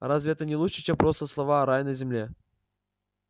разве это не лучше чем просто слова рай на земле